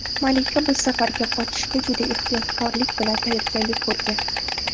Malika bu safargi qochishga juda ehtiyotkorlik bilan tayyorgarlik ko‘rgan.